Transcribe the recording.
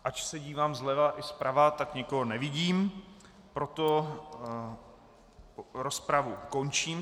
Ač se dívám zleva i zprava, tak nikoho nevidím, proto rozpravu končím.